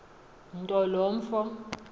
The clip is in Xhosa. nto lo mfo